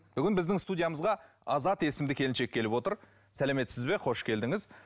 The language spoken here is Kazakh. бүгін біздің студиямызға азат есімді келіншек келіп отыр сәлеметсіз бе қош келдіңіз